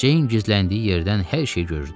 Ceyn gizləndiyi yerdən hər şeyi görürdü.